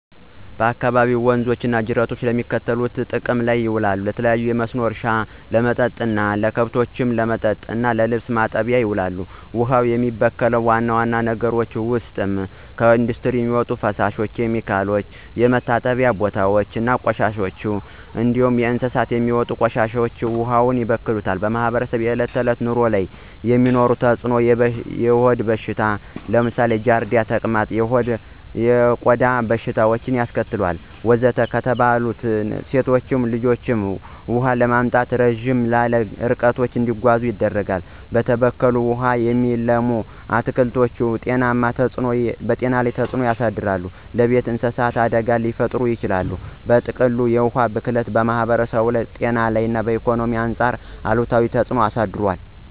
በአካባቢዎ ወንዞች እና ጅረቶች ለሚከተሉት ሁሉ ጥቅም ላይ ይውላሉ -ለተለያዩ እርሻዎች ውሃ ማጠጣት ዋነኛ ጥቅም ነው፣ ከብቶችን ለማጠጣት እና ገላ እና ልብስ ለመታጠብ ይውላል። ውሃውን የሚበክሉ ዋና ዋና ነገሮች ውስጥ የቤተሰብ እና የከተማ ቆሻሻ ውሃ ሳይጣራ በቀጥታ ወደ ወንዞች መፍሰስ፣ የኢንዱስትሪ የሚወጡ ኬሚካሎች እና ከእንስሳት የሚወጡ ቆሻሻዎች ውሃውን ያበክላሉ። በማህበረሰቡ የዕለት ተዕለት ኑሮ ላይ የሚኖረው ተጽዕኖ -የሆድ በሽታዎች (ለምሳሌ ጃርዲያ፣ ተቅማጥ) እና የቆዳ በሽታዎች ያስከትላል፣ ወንዙ ከተበከለ ሴቶችና ልጆች ውሃ ለማምጣት ረዘም ላሉ ርቀቶች እንዲጓዙ ያደርጋል፣ በተበከለ ውሃ የሚለሙ አትክልቶች ጤና ተጽዕኖ ይኖራቸዋል፣ ለቤት እንስሳት አደጋ ሊፈጥር ይችላል። በጥቅሉ፣ የውሃ ብክለት በማህበረሰቡ ላይ ከጤና እና ኢኮኖሚ አንጻር አሉታዊ ተጽዕኖ ያሳድራል።